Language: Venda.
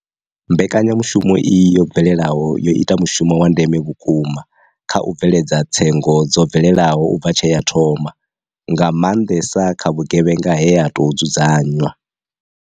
Mbekanyamushumo iyi yo bvelelaho yo ita mushumo wa ndeme vhukuma kha u bveledza tsengo dzo bvelelaho u bva tshe ya thoma, nga maanṅesa kha vhu gevhenga he ha tou dzudzanywa.